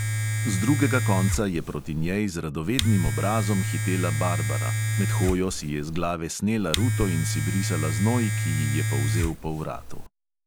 Z drugega konca je proti njej z radovednim obrazom hitela barbara, med hojo si je z glave snela ruto in si brisala znoj, ki ji je polzel po vratu.